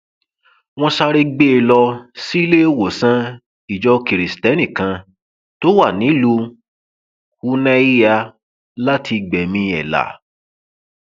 wọn sáré gbé e lọ síléèwọsán ìjọ kirisítẹnì kan tó wà nílùú unahia láti gbẹmí ẹ là